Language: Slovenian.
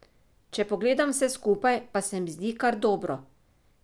Če pogledam vse skupaj, pa se mi zdi kar dobro.